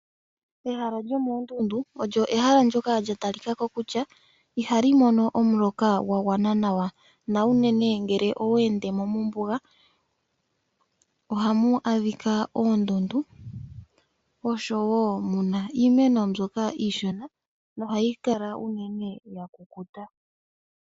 Ehala lyomoondundu olyo ehala ndyoka lya talikako kutya ihali mo omuloka gwa gwana nawa na unene ngele owe endemo mombuga ohamu adhika oondundu oshowo muna iimeno mbyoka iishona nohayi kala ya kukuta.